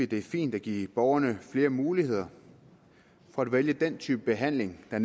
det fint at give borgerne flere muligheder for at vælge den type behandling der